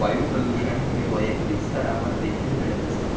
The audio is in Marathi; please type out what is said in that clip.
वायुप्रदूषण हे वैयक्तिक स्तरावर देखील घडत असते,